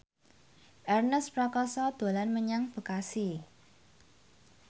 Ernest Prakasa dolan menyang Bekasi